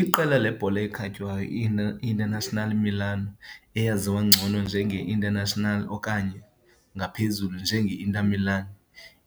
Iqela lebhola ekhatywayo i-Internazionale Milano, eyaziwa ngcono njenge - Internazionale okanye ngaphezulu nje njenge - Inter Milan,